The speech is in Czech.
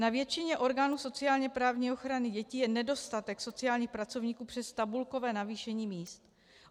Na většině orgánů sociálně-právní ochrany dětí je nedostatek sociálních pracovníků přes tabulkové navýšení míst.